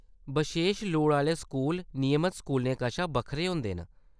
बशेश लोड़ आह्‌‌‌ले स्कूल नियमत स्कूलें कशा बक्खरा होंदे न।